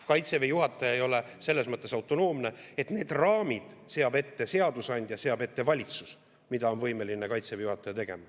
Kaitseväe juhataja ei ole selles mõttes autonoomne, et need raamid, mida Kaitseväe juhataja saab teha, seab ette seadusandja, seab ette valitsus.